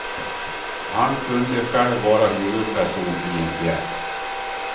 Han kunde själv vara huvudperson i en pjäs.